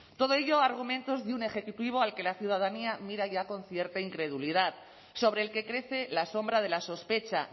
todo ello argumentos de un ejecutivo al que la ciudadanía mira ya con concierta incredulidad sobre el que crece la sombra de la sospecha